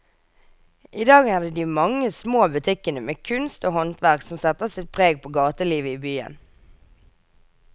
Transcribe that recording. I dag er det de mange små butikkene med kunst og håndverk som setter sitt preg på gatelivet i byen.